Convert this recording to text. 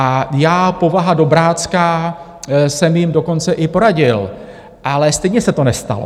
A já, povaha dobrácká, jsem jim dokonce i poradil, ale stejně se to nestalo.